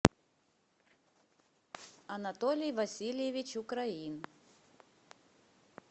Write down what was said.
анатолий васильевич украин